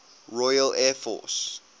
royal air force